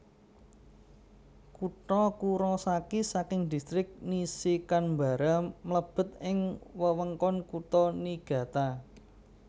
Kutha Kurosaki saking Distrik Nishikanbara mlebet ing wewengkon Kutha Niigata